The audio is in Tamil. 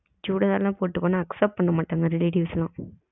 சுடிதார் எல்லாம் போட்டுட்டு போன accept பண்ண மாட்டங்க relatives எல்லாம்